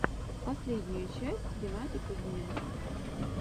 последняя часть геннадий кузьменко